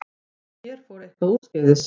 En hér fór eitthvað úrskeiðis.